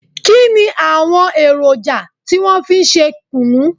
Kínni àwọn èròjà tí wọn fi ń ṣe kùnú?